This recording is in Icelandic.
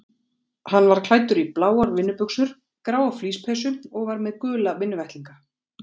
Hann var klæddur í bláar vinnubuxur, gráa flíspeysu og var með gula vinnuvettlinga.